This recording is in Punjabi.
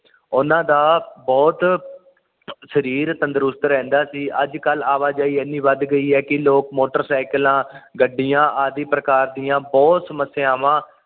ਉਹਨਾਂ ਦਾ ਬੁਹਤ ਸਰੀਰ ਤੰਦਰੁਸਤ ਰਹਿੰਦਾ ਸੀ ਅੱਜ ਕੱਲ ਆਵਾਜਾਈ ਏਨੀ ਵੱਧ ਗਈ ਐ ਕਿ ਲੋਕ ਮੋਟਰਸੀਕਾਲਾ ਗੱਡੀਆਂ ਆਦਿ ਪ੍ਰਕਾਰ ਦੀਆ ਬੁਹਤ ਸਮੱਸਿਆਵਾਂ